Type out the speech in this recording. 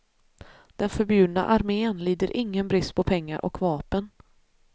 Den förbjudna armén lider ingen brist på pengar och vapen.